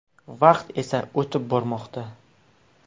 Vaqt esa o‘tib bormoqda.